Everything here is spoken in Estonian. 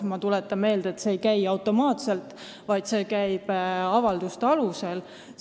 Ma tuletan meelde, et see ei käi automaatselt, vaid avalduste alusel.